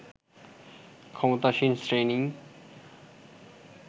ক্ষমতাসীন শ্রেণীই